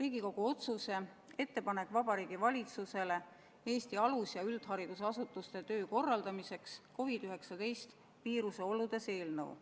Riigikogu otsuse "Ettepanek Vabariigi Valitsusele Eesti alus- ja üldharidusasutuste töö korraldamiseks ühtsetel alustel COVID-19 viiruse oludes" eelnõu.